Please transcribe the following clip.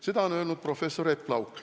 " Seda on öelnud professor Epp Lauk.